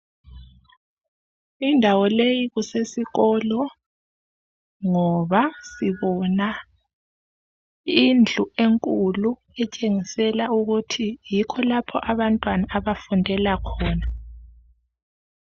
Indawo leyi kusesikolo ngoba sibona indlu enkulu etshengisela ukuthi yikho lapho abantwana abafundela khona.